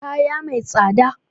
Kaya mai tsada